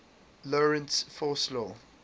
lorentz force law